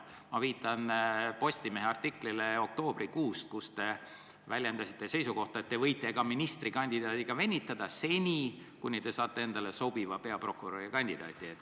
Mina viitan Postimehe oktoobrikuus ilmunud artiklile, kus te väljendasite seisukohta, et te võite ministrikandidaadiga venitada, kuni te saate endale sobiva peaprokuröri kandidaadi.